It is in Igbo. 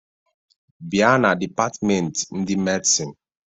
Bia na dipatment ndị Medicine!